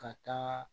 Ka taa